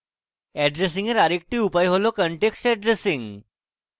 addressing এর আরেকটি উপায় হল context addressing